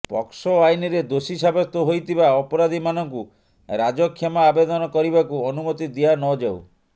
ପକ୍ସୋ ଆଇନରେ ଦୋଷୀ ସାବ୍ୟସ୍ତ ହୋଇଥିବା ଅପରାଧୀମାନଙ୍କୁ ରାଜକ୍ଷମା ଆବେଦନ କରିବାକୁ ଅନୁମତି ଦିଆନଯାଉ